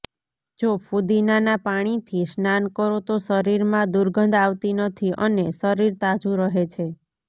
જો ફુદીનાના પાણીથી સ્નાન કરો તો શરીરમાં દુર્ગંધ આવતી નથી અને શરીર તાજું રહે છે